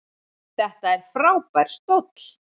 Þetta er frábær stóll.